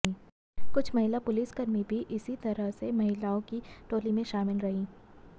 कुछ महिला पुलिसकर्मी भी इसी तरह से महिलाओं की टोली में शामिल रहीं